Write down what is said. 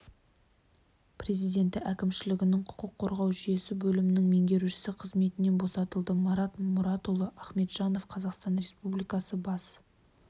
президенті әкімшілігінің құқық қорғау жүйесі бөлімінің меңгерушісі қызметінен босатылды марат мұратұлы ахметжанов қазақстан республикасы бас